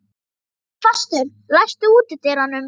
Hólmfastur, læstu útidyrunum.